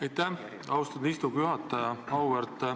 Aitäh, austatud istungi juhataja!